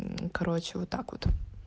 короче вот так вот